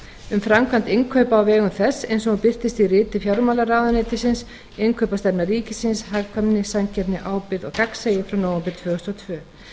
um framkvæmd innkaupa á vegum þess eins og hún birtist í riti fjármálaráðuneytisins innkaupastefna ríkisins hagkvæmni samkeppni ábyrgð og gagnsæi frá nóvember tvö þúsund og tvö